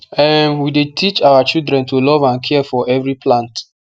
um we dey teach our children to love and care for every plant